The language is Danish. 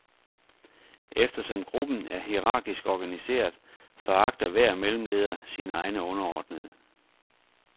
Eftersom gruppen er hierarkisk organiseret, foragter hver mellemleder sine egne underordnede.